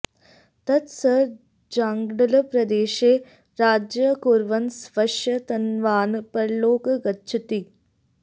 ततः सः जाङ्गलप्रदेशे राज्यं कुर्वन् स्वयशः तन्वानः परलोकं गच्छतीति